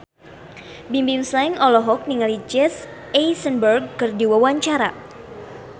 Bimbim Slank olohok ningali Jesse Eisenberg keur diwawancara